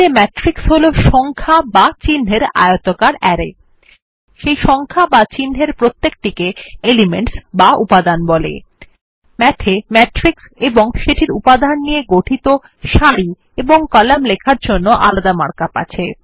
math এ matrix এবং সেটির উপাদান নিয়ে গঠিত সারি ও কলাম লেখার জন্য আলাদা মার্ক আপ আছে